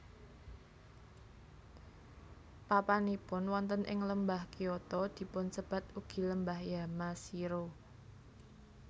Papanipun wonten ing Lembah Kyoto dipunsebat ugi Lembah Yamashiro